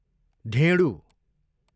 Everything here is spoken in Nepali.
ढेँडु